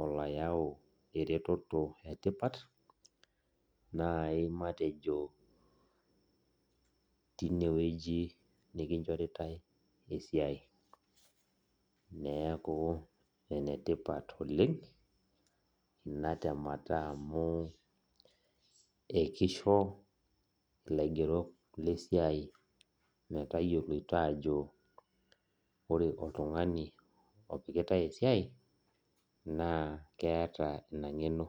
oloyau ereteto etipat, nai matejo tinewueji nikinchoritai esiai. Neeku enetipat oleng, ina temata amu ekisho ilaigerok lesiai metayioloito ajo, ore oltung'ani opikitai esiai, naa keeta ina ng'eno.